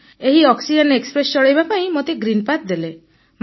ଏହି oxygen express ଚଳେଇବା ପାଇଁ ମୋତେ ଗ୍ରୀନ ପାଥ୍ ଦେଲେ